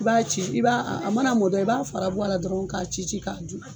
I b'a ci i b'a a a mana mɔ dɔrɔn i b'a fara bɔ a la dɔrɔn k'a ci ci k'a du.